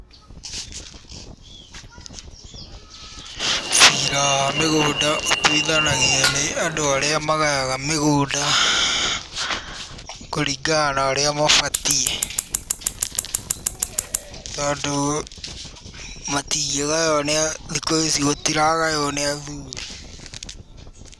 Ciira wa mĩgũnda ũtwithanagio nĩ andũ arĩa marĩmaga mĩgũnda kũringana na ũria mabatiĩ, tondũ thikũ ici gũtiragaywo nĩ athuri.